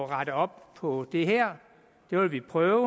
rette op på det her det vil vi prøve